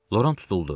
Loran tutuldu.